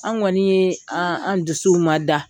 An kɔnni ye an an dusuw ma da.